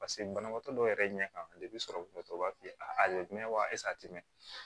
paseke banabaatɔ dɔw yɛrɛ ɲɛ kan sɔrɔ b'a f'i ye a a te mɛn